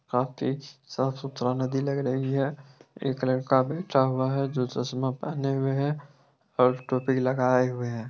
काफी स-साफ़ सुथरा नदी लग रही है एक लड़का बैठा हुआ है जो चश्मा पहने हुए है और टोपी लगाए हुए है।